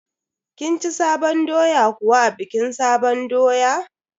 Kin ci sabon doya kuwa a bikin sabon doya?